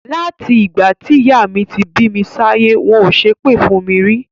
Láti ìgbà tí ìyá mi ti bí mi sáyé, wọn ò ṣépè fún mi rí.